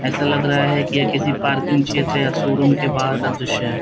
ऐसा लग रहा है कि यह किसी पार्किंग क्षेत्र या शोरूम के बाहर का दृश्य है।